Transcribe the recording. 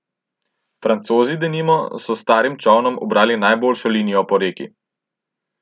Francozi denimo so s starim čolnom ubrali najboljšo linijo po reki.